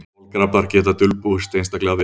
Kolkrabbar geta dulbúist einstaklega vel.